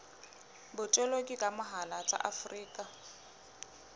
botoloki ka mohala tsa afrika